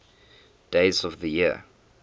days of the year